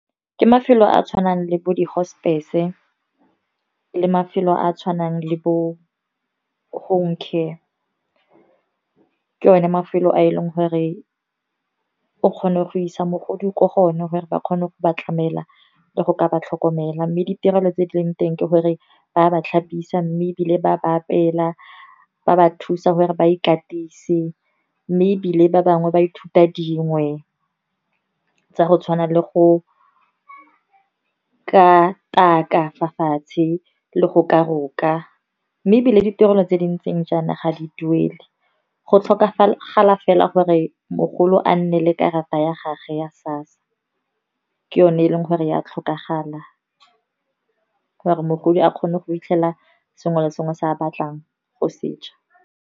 Ke mafelo a a tshwanang le bo di-hospice, le mafelo a a tshwanang le bo home care. Ke o ne mafelo a e leng gore o kgone go isa mogodi ko go one gore ba kgone go ba tlamela, le go ka ba tlhokomela. Mme ditirelo tse di leng teng ke gore, ba ba tlhapisa mme ebile ba ba apeela. Ba ba thusa gore ba ikatise, mme ebile ba bangwe ba ithuta dingwe tsa go tshwana le go kataka fa fatshe. Le go ka roka mme ebile ditirelo tse di ntseng jaana ga di duele, go tlhokagala fela go gore mogolo a nne le karata ya gage ya SASSA, ke yone e leng gore ya tlhokagala gore mogodi a kgone go fitlhelela sengwe le sengwe se a batlang go se ja.